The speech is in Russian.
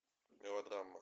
мелодрама